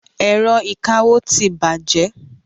Ẹ̀rọ ìkawó ti bàjẹ́.